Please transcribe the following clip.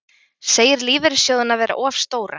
Segir lífeyrissjóðina vera of stóra